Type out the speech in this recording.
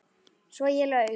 Svo ég laug.